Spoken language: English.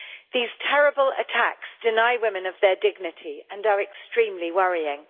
These terrible attacks deny women of their dignity and are extremely worrying.